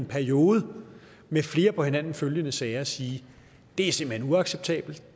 periode med flere på hinanden følgende sager sige det er simpelt hen uacceptabelt